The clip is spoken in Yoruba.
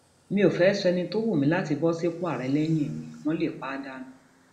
mi ò fẹẹ sọ ẹni tó wù mí láti bọ sípò àárẹ lẹyìn mi wọn lè pa á dànù